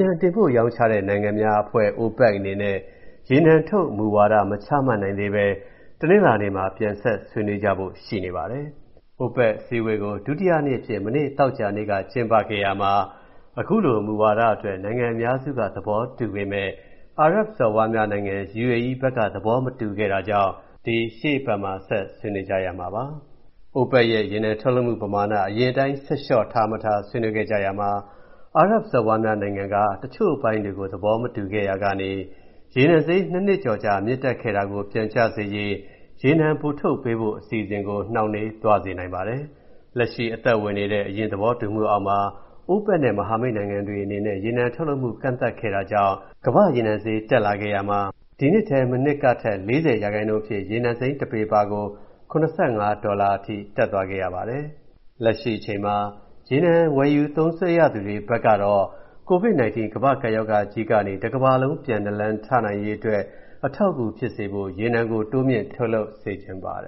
နံတင်ပို့ရောင်းချတဲ့ နိုင်ငံများအဖွဲ့ (OPEC) အနေနဲ့ ရေနံထုတ်မူဝါဒ မချမှတ်နိုင်သေးဘဲ တနင်္လာနေ့မှာ ပြန်ဆက်ဆွေးနွေးကြဖို့ ရှိနေပါတယ်။ OPEC အစည်းအဝေးကို ဒုတိယနေ့အဖြစ် မနေ့က ကျင်းပခဲ့ရာမှာ အခုမူဝါဒအတွက် နိုင်ငံအများစုက သဘောတူပေမယ့် အာရပ်စော်ဘွားများနိုင်ငံ (UAE) ဘက်က သဘောမတူတာကြောင့် အခုလို ရှေ့အပတ်မှာ ဆက်ဆွေးနွေးကြရမှာပါ။ OPEC ရဲ့ ရေနံထုတ်လုပ်မှုပမာဏ အရင်အတိုင်း ဆက်လျှော့ထားမထား ဆွေးနွေးခဲ့ကြရာမှာ အာရပ်စော်ဘွားများနိုင်ငံက တချို့အပိုင်းတွေကို သဘောမတူခဲ့ရာကနေ ရေနံဈေး ၂ နှစ်ကျော်ကြာ တက်ခဲ့တာ ပြန်ကျစေရေး ရေနံပိုထုတ်ပေးဖို့ အစီအစဉ်ကို နှောင့်နှေးသွားစေနိုင်ပါတယ်။ လက်ရှိအသက်ဝင်နေတဲ့ အရင်သဘောတူမှုအောက်မှာ OPEC နဲ့ မဟာမိတ်နိုင်ငံတွေအနေနဲ့ ရေနံထုတ်လုပ်မှု ကန့်သတ်ခဲ့တာကြောင့် ကမ္ဘာ့ရေနံဈေးကွက် တက်လာခဲ့ရာမှာ ဒီနှစ်ထဲ မနှစ်ကထက် ၄၀ ရာခိုင်နှုန်းအဖြစ် ရေနံစိမ်းတပေပါကို ၇၅ ဒေါ်လာအထိ တက်သွားခဲ့ရပါတယ်။ လက်ရှိအချိန်မှာ ရေနံဝယ်ယူ သုံးစွဲရသူတွေဘက်ကတော့ COVID-19 ကမ္ဘာ့ကပ်ရောဂါကြီးကနေ တကမ္ဘာလုံး ပြန်နာလန်ထနိုင်ရေးအတွက် အထောက်အကူဖြစ်စေဖို့ ရေနံကို တိုးမြှင့်ထုတ်လုပ်စေချင်နေပါတယ